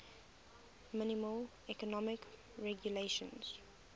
minimal economic regulations